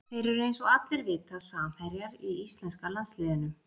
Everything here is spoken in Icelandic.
Þeir eru eins og allir vita samherjar í íslenska landsliðinu.